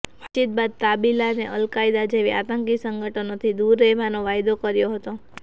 વાતચીત બાદ તાલિબાને અલકાયદા જેવા આતંકી સંગઠનોથી દૂર રહેવાનો વાયદો કર્યો હતો